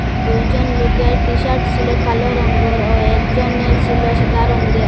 দুইজন লোকের টিশার্ট ছিল কালো রঙ্গের ও একজনের ছিল সাদা রঙ্গের।